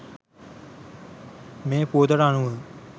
මේ පුවතට අනුව